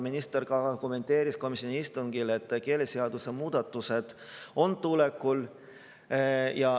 Minister kommenteeris komisjoni istungil, et keeleseaduse muudatused on tulekul.